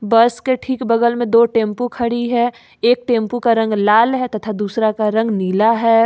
बस के ठीक बगल में दो टेम्पो खड़ी है एक टेम्पो का रंग लाल है तथा दूसरा का रंग नीला है।